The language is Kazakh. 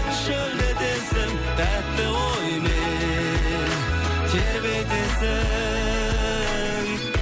шөлдетесің тәтті оймен тербетесің